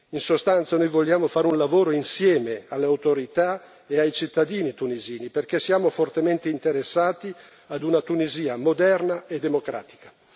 In sostanza, noi vogliamo fare un lavoro insieme alle autorità e ai cittadini tunisini perché siamo fortemente interessati ad una Tunisia moderna e democratica.